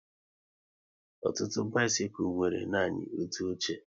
Ọtụtụ bisikul nwere nanị otu oche